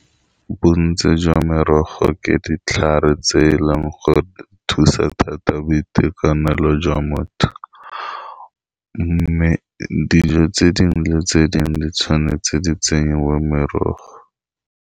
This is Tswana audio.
Bontsi jwa merogo ke ditlhare tse e leng go thusa thata boitekanelo jwa motho, mme dijo tse dingwe le tse dingwe di tshwanetse di tsenyiwe merogo.